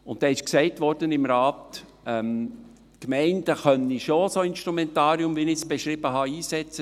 Weiter wurde im Rat gesagt, die Gemeinden können solche Instrumentarien, wie ich sie beschrieben habe, schon einsetzen.